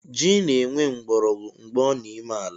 Ji na-enwe mgborogwu mgbe ọ n’ime ala